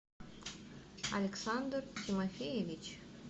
александр тимофеевич